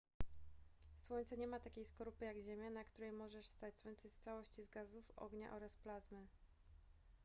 słońce nie ma takiej skorupy jak ziemia na której możesz stać słońce jest w całości z gazów ognia oraz plazmy